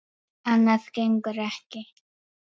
Annað gengur ekki.